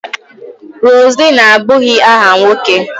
Roseline abụghị aha nwoke